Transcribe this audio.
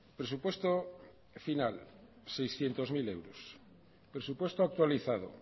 presupuesto final seiscientos mil euros presupuesto actualizado